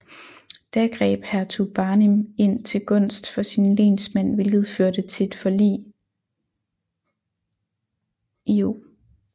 Da greb Hertug Barnim ind til gunst for sin lensmand hvilket førte til et forlig l0